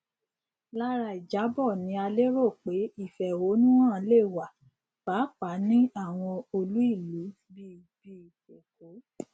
lára ìjábọ ni a lérò pé ìfẹhónúhàn le wa pàápàá ní àwọn olú ìlú bí bí èkó